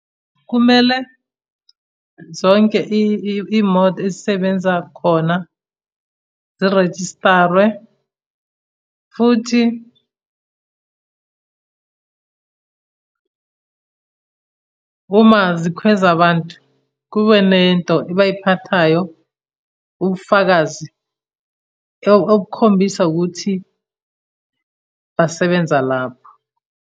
Kumele zonke iy'moto ezisebenza khona, zirejistare, futhi uma zikhweza abantu, kube nento ebayiphathayo ubufakazi obukhombisa ukuthi basebenza lapho.